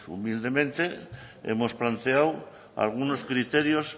pues humildemente hemos planteado algunos criterios